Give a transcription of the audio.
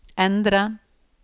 endre